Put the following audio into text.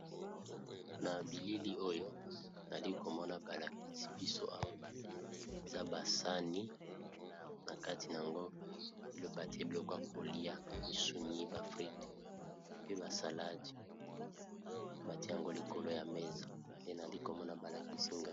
Na bilili oyo, nali ko mona ba lakisi biso awa eza ba sani na kati na yango ba tié biloka ya kolia, misuni, ba fritte pe bavsalade. Ba tié yango likolo ya mesa pe nali ko mona ba lakisi nga .